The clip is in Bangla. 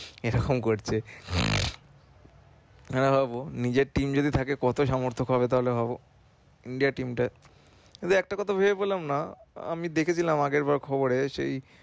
এরকম করছে এবার ভাবো নিজের team যদি থাকে কত সমার্থক হবে তাহলে ভাবো। India team টা তবে একটা কথা ভেবে পেলাম না আমি দেখেছিলাম আগের বার খবরে সেই